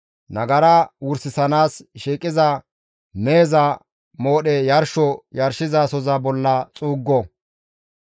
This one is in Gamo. Nagara wursanaas shiiqida meheza moodhe yarsho yarshizasoza bolla xuuggo.